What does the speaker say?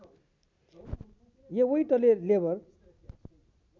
एवैटले labour